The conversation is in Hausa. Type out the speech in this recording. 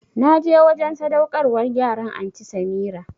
Na je wajen sadaukarwar yaran Anty Samirah